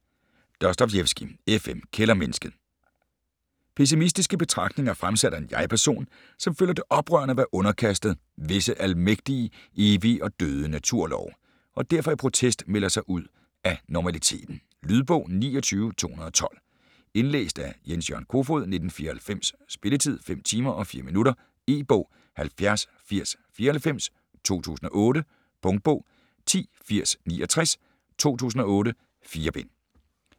Dostojevskij, F. M.: Kældermennesket Pessimistiske betragtninger, fremsat af en jeg-person, som føler det oprørende at være underkastet "visse almægtige, evige og døde naturlove", og derfor i protest melder sig ud af normaliteten. Lydbog 29212 Indlæst af Jens-Jørgen Kofod, 1994. Spilletid: 5 timer, 4 minutter. E-bog 708094 2008. Punktbog 108069 2008. 4 bind.